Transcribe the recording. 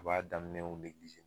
U b'a daminɛw